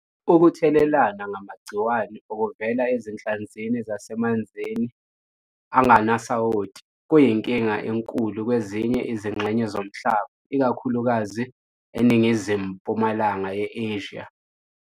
Ukutheleleka ngamagciwane okuvela ezinhlanzi zasemanzini angenasawoti kuyinkinga enkulu kwezinye izingxenye zomhlaba, ikakhulukazi eNingizimu-mpumalanga ye-Asia.